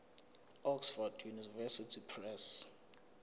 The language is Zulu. oxford university press